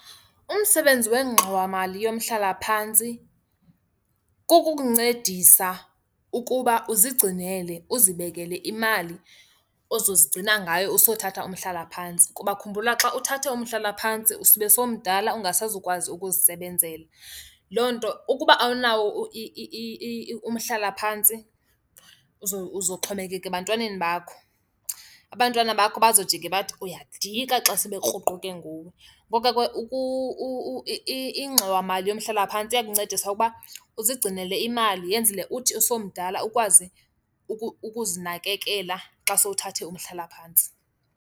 Umsebenzi wengxowamali yomhlalaphantsi kukukuncedisa ukuba uzigcinele, uzibekele imali ozozigcina ngayo usothatha umhlalaphantsi. Kuba khumbula xa uthathe umhlalaphantsi usube sowumdala ungasazukwazi ukuzisebenzela. Loo nto ukuba awunawo umhlalaphantsi uzoxhomekeka ebantwaneni bakho. Abantwana bakho bazojike bathi uyadika xa sebekruquke nguwe. Ngoko ke ingxowamali yomhlalaphantsi iyakuncedisa ukuba uzigcinela imali yenzele uthi usowumdala ukwazi ukuzinakekela xa sowuthathe umhlalaphantsi.